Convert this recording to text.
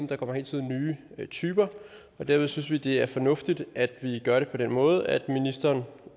der kommer hele tiden nye typer og dermed synes vi det er fornuftigt at vi gør det på den måde at ministeren